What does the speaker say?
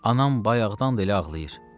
Anam bayaqdan da elə ağlayır.